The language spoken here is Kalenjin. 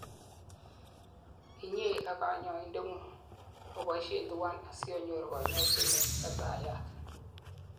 inyei ak kanyoindetng'ung oboishei tuwan asionyoru kanyoiset neititayat